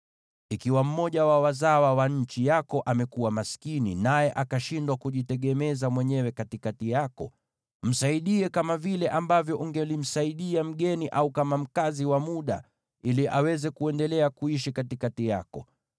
“ ‘Ikiwa mmoja wa wazawa wa nchi yako amekuwa maskini, naye akashindwa kujitegemeza mwenyewe katikati yako, msaidie kama vile ambavyo ungelimsaidia mgeni au kama mkazi wa muda, ili aweze kuendelea kuishi katikati yako.